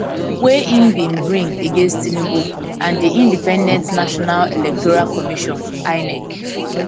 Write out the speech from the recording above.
wey im bin bring against tinubu and di independent national electoral commission inec